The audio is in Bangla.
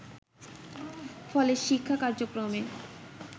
ফলে শিক্ষা কার্যক্রমে